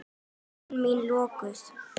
Augu mín lokuð.